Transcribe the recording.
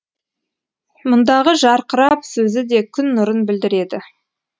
мұндағы жарқырап сөзі де күн нұрын білдіреді